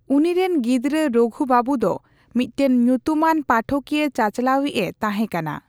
ᱩᱱᱤᱨᱮᱱ ᱜᱤᱫᱽᱨᱟᱹ ᱨᱚᱜᱷᱩ ᱵᱟᱹᱵᱩ ᱫᱚ ᱢᱤᱫᱴᱟᱝ ᱧᱩᱛᱩᱢᱟᱱ ᱯᱟᱴᱷᱚᱠᱤᱭᱟᱹᱼᱪᱟᱪᱟᱞᱟᱣᱤᱡᱼᱮ ᱛᱟᱦᱮᱸᱠᱟᱱᱟ ᱾